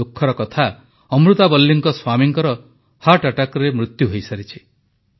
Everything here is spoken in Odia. ଦୁଃଖର କଥା ଅମୃତାବଲ୍ଲୀଙ୍କ ସ୍ୱାମୀଙ୍କର ହୃଦଘାତରେ ମୃତ୍ୟୁ ହୋଇସାରିଛି